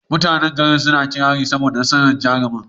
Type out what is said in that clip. Mutanan gari suna yin kirari saboda nasarar jarumin.